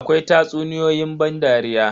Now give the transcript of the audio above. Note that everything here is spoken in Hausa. Akwai tatsuniyoyi ban dariya.